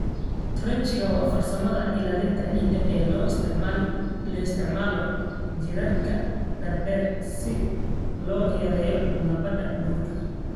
Trenching waa farsamada ilaalinta ciidda ee loo isticmaalo jiirarka dhaadheer si loo yareeyo nabaad guurka.